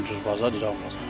Ən ucuz bazar İran bazarıdır.